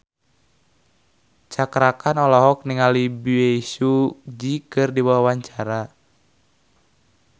Cakra Khan olohok ningali Bae Su Ji keur diwawancara